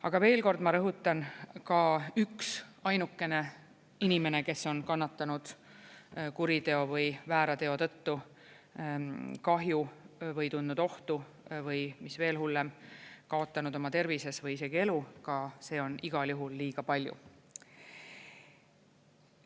Aga veel kord, ma rõhutan: ka üksainukene inimene, kes on kannatanud kuriteo või väärteo tõttu kahju või tundnud ohtu, või mis veel hullem, kaotanud oma tervises või isegi elu, see on igal juhul liiga palju.